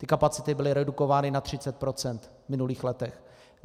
Ty kapacity byly redukovány na 30 % v minulých letech.